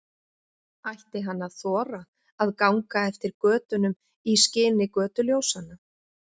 Ætti hann að þora að ganga eftir götunum í skini götuljósanna?